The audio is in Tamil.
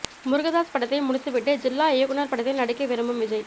முருகதாஸ் படத்தை முடித்துவிட்டு ஜில்லா இயக்குனர் படத்தில் நடிக்க விரும்பும் விஜய்